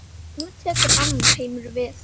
Nú tekur annar heimur við.